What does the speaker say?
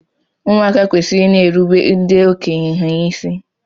Ụmụaka kwesịrị ị na-erubere ndị okenye ha isi.